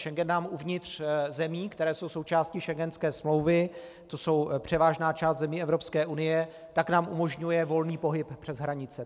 Schengen nám uvnitř zemí, které jsou součástí schengenské smlouvy, to je převážná část zemí Evropské unie, tak nám umožňuje volný pohyb přes hranice.